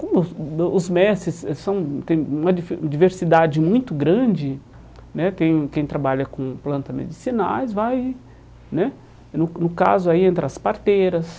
Como os os mestres eh são têm uma diversidade muito grande né, tem o quem trabalha com planta medicinais, vai né, no no caso aí, entre as parteiras,